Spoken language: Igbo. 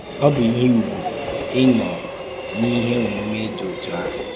Ọ́ bụ̀ íhè ùgwù ị̀nọ̀ n’íhè ọ̀múmè dị otú àhụ̀!